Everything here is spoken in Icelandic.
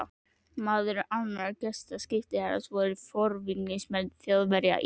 Meðal annarra gesta skipherrans voru forvígismenn Þjóðverja í